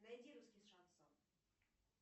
найди русский шансон